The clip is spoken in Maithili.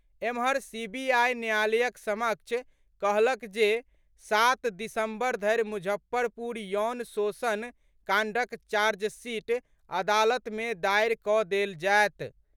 एम्हर सीबीआई न्यायालयक समक्ष कहलक जे सात दिसम्बर धरि मुजफ्फरपुर यौन शोषण कांडक चार्जशीट अदालत में दायर कऽ देल जायत।